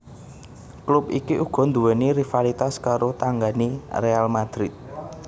Klub iki uga nduwèni rivalitas karo tanggané Real Madrid